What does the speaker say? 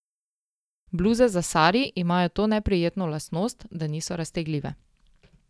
Bluze za sari imajo to neprijetno lastnost, da niso raztegljive.